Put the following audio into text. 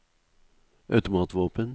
automatvåpen